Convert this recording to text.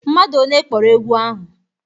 Mmadu one kpọrọ egwu ahụ?